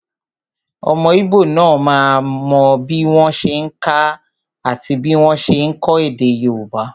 Ọmọ íbò náà mọ bí wọ́n ṣe n kà àti bí wọ́n ṣe n kọ èdè yóòbá